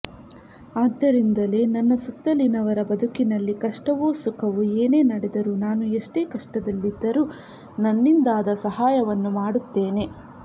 ಆದ್ದರಿಂದಲೇ ನನ್ನ ಸುತ್ತಲಿನವರ ಬದುಕಿನಲ್ಲಿ ಕಷ್ಟವೋ ಸುಖವೋ ಏನೇ ನಡೆದರೂ ನಾನು ಎಷ್ಟೇ ಕಷ್ಟದಲ್ಲಿದ್ದರೂ ನನ್ನಿಂದಾದ ಸಹಾಯವನ್ನು ಮಾಡುತ್ತೇನೆ